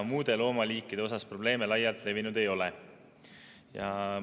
Muude loomaliikidega probleeme laialt ei ole.